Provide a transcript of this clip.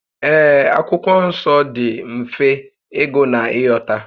Ee, Akwụkwọ Nsọ dị mfe ịgụ na ị ghọta